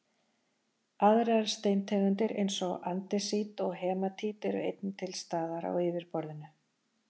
aðrar steintegundir eins og andesít og hematít eru einnig til staðar á yfirborðinu